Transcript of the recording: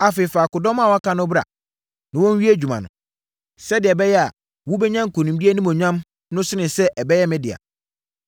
Afei, fa akodɔm a wɔaka no bra na wɔnwie adwuma no, sɛdeɛ ɛbɛyɛ a, wobɛnya nkonimdie animuonyam no sene sɛ ɛbɛyɛ me dea.”